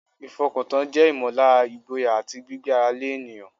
Ìfọkàntán jẹ́ ìmọ̀lára ìgboyà àti gbígbé ara lé ènìyàn.